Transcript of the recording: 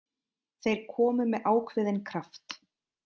Þeir komu með ákveðinn kraft.